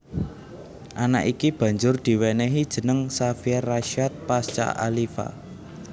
Anak iki banjur diwénéhi jeneng Xavier Rasyad Pasca Aliva